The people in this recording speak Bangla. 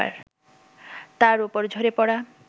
তার ওপর ঝরে পড়া